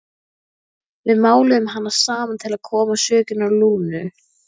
Við máluðum hana saman til að koma sökinni á Lúnu.